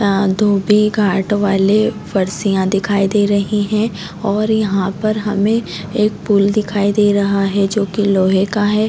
यहाँ धोबी घाट वाले फर्शिया दिखाई दे रही है और यहाँ पर हमे एक पूल दिखाई दे रहा है जो की लोहे का है।